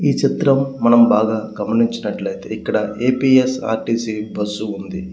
ఈ చిత్రం మనం బాగా గమనించినట్లైతే ఇక్కడ A _P _S _R _T C bus ఉంది.